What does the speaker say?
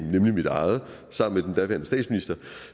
nemlig mit eget